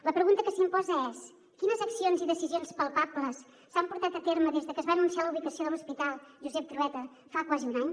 la pregunta que s’imposa és quines accions i decisions palpables s’han portat a terme des de que es va anunciar la ubicació de l’hospital josep trueta fa quasi un any